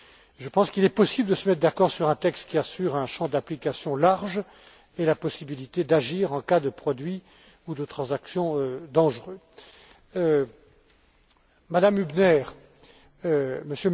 Je pense qu'il est possible de se mettre d'accord sur un texte qui assure un champ d'application large tout en prévoyant la possibilité d'agir en cas de produits ou de transactions dangereux. Mme Hübner,